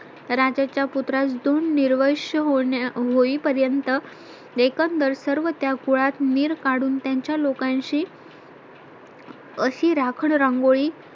राजाच्या पुत्र दोन निर्वंश होईपर्यंत एकंदर सर्व त्या कुळात मीर काढून त्यांच्या लोकांशी अशी राखण रांगोळी